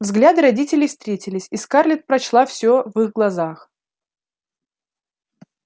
взгляды родителей встретились и скарлетт прочла всё в их глазах